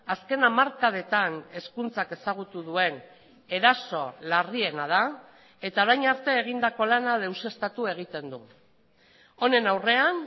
azken hamarkadetan hezkuntzak ezagutu duen eraso larriena da eta orain arte egindako lana deuseztatu egiten du honen aurrean